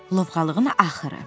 Lovğalığın axırı.